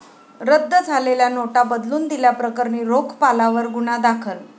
रद्द झालेल्या नोटा बदलून दिल्या प्रकरणी रोखपालावर गुन्हा दाखल